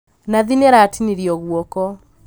Nathi nĩaratinirio guoko